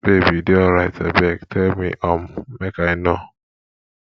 babe you dey alright abeg tell me um make i know